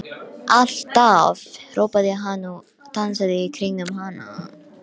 Magnússon sem einnig var ráðherra um tíma.